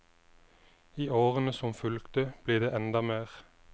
I årene som fulgte ble det enda mer.